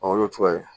Ɔ o y'o cogoya ye